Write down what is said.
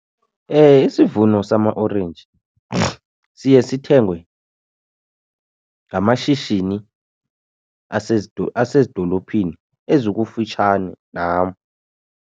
Isivuno samaorenji siye sithengwe ngamashishini asezidolophini ezikufitshane nam.